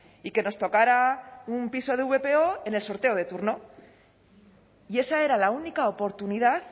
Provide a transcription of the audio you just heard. y que nos tocara un piso de vpo en el sorteo de turno y esa era la única oportunidad